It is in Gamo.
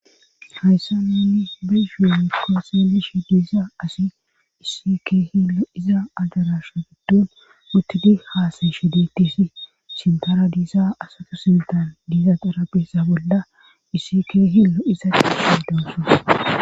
Hayssa ninni behuuenkko seelish diisa asi isike hilo iza adarasha giddun muttidi haasayshe detisi sintara diisa asatu sintaa diiza qarabeessa bolla issi k hillo isa qi hidonsu